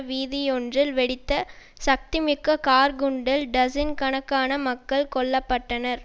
வீதியொன்றில் வெடித்த சக்திமிக்க கார் குண்டில் டசின் கணக்கான மக்கள் கொல்ல பட்டனர்